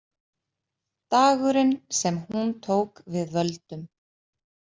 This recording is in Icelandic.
Dagurinn sem hún tók við völdum.